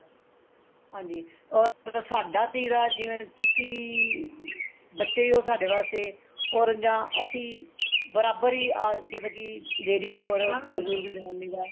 ਹਾਂਜੀ or ਸਾਡਾ ਤੀਰਾ ਜਿਵੇਂ ਤੁਸੀਂ ਬੱਚੇ ਹੀ ਹੋ ਸਾਡੇ ਵਾਸਤੇ or ਜਾਂ ਅਸੀਂ ਬਰਾਬਰ ਆ ਮਤਲਬ ਕੀ ladies or ਬਜੁਰਗ ਜਨਾਨੀ ਦਾ